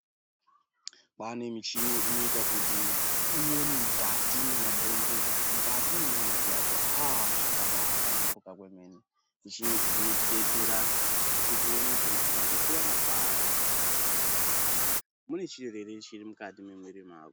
Pane michini inoita kuti uone mukati mwe mabhonzo mukati mwe nyama dzako haaa zvakabai shamburika kwemene mishini idzi dzinoti detsera kuti uone kuti waka kwara pari uye mune chiro ere chiri mukati me mwiri yako.